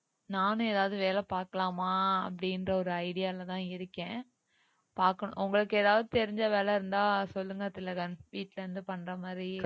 நானும் எதாவது வேலை பார்க்கலாமா அப்படின்ற ஒரு idea ல தான் இருக்கேன் பாக்கணும் உங்களுக்கு ஏதாவது தெரிஞ்ச வேலை இருந்தா சொல்லுங்க திலகன் வீட்டுல இருந்து பண்ற மாதிரி